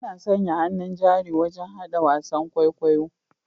Ana sanya hannun jari wajen hada wasan kwaikwayon kwaikwayo